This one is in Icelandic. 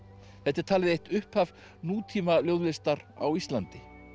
þetta er talið eitt upphaf á Íslandi